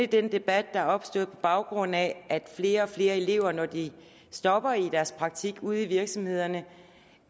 den debat der er opstået på baggrund af at flere og flere elever når de stopper i deres praktik ude i virksomhederne